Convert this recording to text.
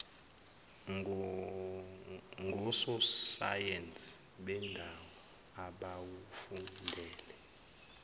ngososayensi bendalo abawufundele